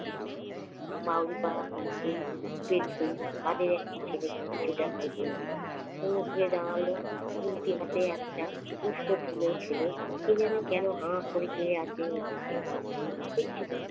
বাউরিপাড়া পেরুতেই~ পেরুতেই তাদের একটা ছেলে পিছু ডাকল তনুকে। তনু ঘুরে দাঁড়াল, গুলতি হাতে একটা ছেলে। কি জানি কেন হা করে চেয়ে আছে ওর দিকে। কাদের ছেলে?